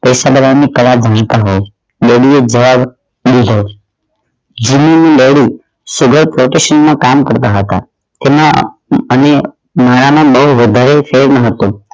પૈસાદાર ની પરભૂમિકા હોવ જીવું મરુ sugar પરતિષીમાં કામ કરતાં હતા તેમના અન્ય મારા માં બહુ વધારે ફેર ન હતો